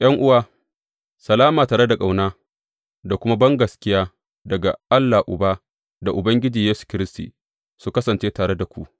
’Yan’uwa, salama tare da ƙauna da kuma bangaskiya daga Allah Uba da Ubangiji Yesu Kiristi su kasance tare da ku.